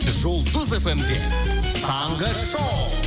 жұлдыз фмде таңғы шоу